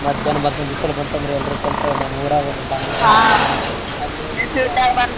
ಮಧ್ಯಾಹ್ನ ಮತ್ ಬಿಸಲ್ ಬಂತಂದ್ರ ಎಲ್ರೂ ಕಲ್ತು ನಮ್ ಊರಾಗ ಒಂದ್ ಬಾವಿ ಅಲ್ಲೋಗಿ.